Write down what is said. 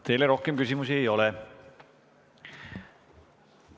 Teile rohkem küsimusi ei ole.